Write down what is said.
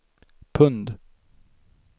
pund